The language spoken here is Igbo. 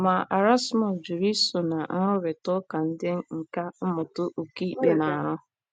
Ma, Erasmus jụrụ iso ná nrụrịta ụka ndị nkà mmụta okpukpe na - arụ.